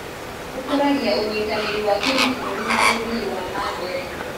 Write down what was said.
Ũkũragia ũnyitanĩri wa kĩmabũrũri na ũthii wa na mbere.